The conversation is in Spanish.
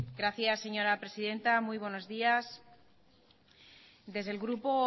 gracias señora presidenta muy buenos días desde el grupo